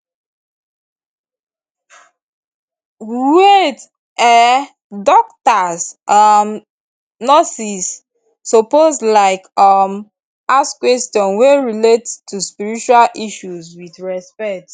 wait eh dokitas um and nurses suppose like um ask questions wey relate to spiritual issues with respect